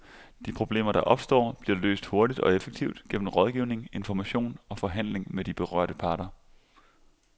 De problemer, der opstår, bliver løst hurtigt og effektivt gennem rådgivning, information og forhandling med de berørte parter.